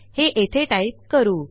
हे येथे टाईप करू